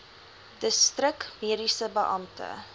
distrik mediese beampte